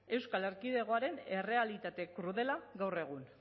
euskal erkidegoaren errealitate krudela gaur egun